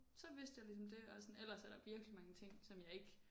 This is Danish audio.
Så vidste jeg ligesom det og sådan ellers er der virkelig mange ting som jeg ikke